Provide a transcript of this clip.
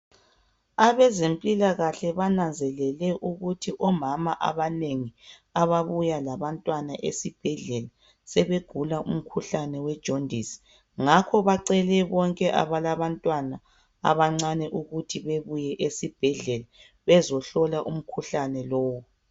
Abezempilakahle bananzelele ukuthi omama abanengi ababuya labantwana esibhedlela sebegula umkhuhlane wejondisi ngakho bacele bonke abalabantwana abancane ukuthi bebuye esibhedlela bezehlola umkhuhlane lowu.